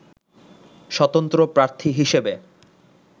স্বতন্ত্র প্রার্থী হিসেবে